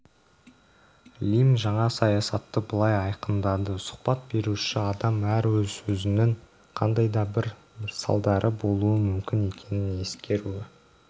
лимн жаңа саясатты былай айқындады сұхбат беруші адам әр сөзінің қандай да бір салдары болуы мүмкін екенін ескеруі